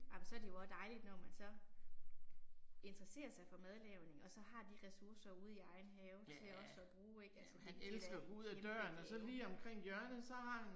Amen så er det jo også dejligt når man så interesserer sig for madlavning og så har de ressourcer ude i egen have til også at bruge det er da en kæmpe gave